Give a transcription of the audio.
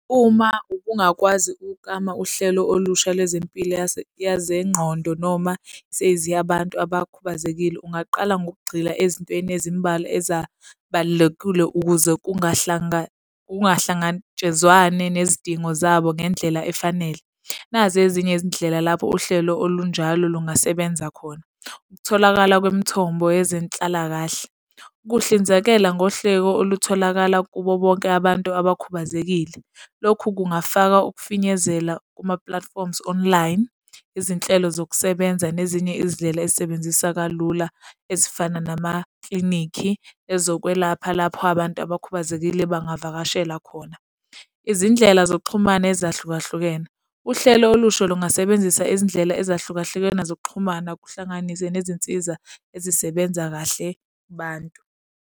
Uma ubungakwazi ukuklama uhlelo olusha lwezempilo yezenqondo noma seziya abantu abakhubazekile, ungaqala ngokugxila ezintweni ezimbalwa ezabalulekile ukuze kungahlangatshezwane nezidingo zabo, ngendlela efanele. Nazi ezinye izindlela lapho uhlelo olunjalo lungasebenza khona. Ukutholakala kwemithombo yezenhlalakahle. Ukuhlinzekela ngohleko olutholakala kubo bonke abantu abakhubazekile. Lokhu kungafaka ukufinyezela kuma-platforms online, izinhlelo zokusebenza nezinye izindlela esebenzisa kalula ezifana namaklinikhi, ezokwelapha lapho abantu abakhubazekile bangavakashela khona. Izindlela zokuxhumana ezahlukahlukene. Uhlelo olusha lungasebenzisa izindlela ezahlukahlukene zokuxhumana kuhlanganise nezinsiza ezisebenza kahle kubantu.